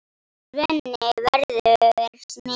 Svenni verður smiður.